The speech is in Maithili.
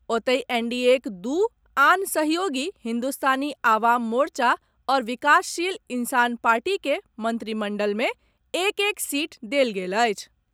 ओतहि, एनडीएक दू आन सहयोगी हिन्दुस्तानी आवाम मोर्चा आ विकासशील इंसान पार्टी के मन्त्रिमण्डलमे एक एक सीट देल गेल अछि।